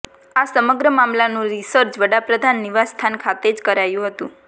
આ સમગ્ર મામલાનું રિસર્ચ વડાપ્રધાન નિવાસસ્થાન ખાતે જ કરાયું હતું